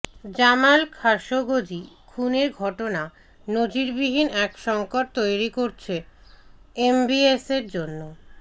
Jamal Khashoggi খুনের ঘটনা নজিরবিহীন এক সংকট তৈরি করেছে এমবিএসের জন্য